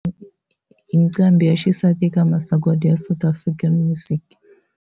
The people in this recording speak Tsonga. Nqambhi ya xisati eka masagwati ya South African Music.